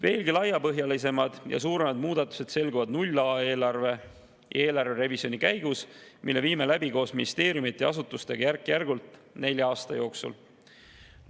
Veelgi laiapõhjalisemad ja suuremad muudatused selguvad nulleelarve ja eelarverevisjoni käigus, mille viime koos ministeeriumide ja asutustega läbi järk-järgult nelja aasta jooksul.